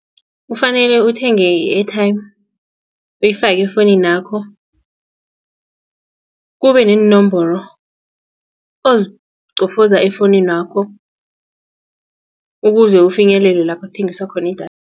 Kufanele uthenge i-airtime uyifake efowuninakho kube neenomboro oziqofoza efowuninakho ukuze ufinyelele lapho kuthengiswa khona idatha.